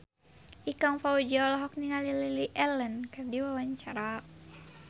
Ikang Fawzi olohok ningali Lily Allen keur diwawancara